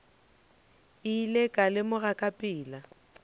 ile ka lemoga ka pela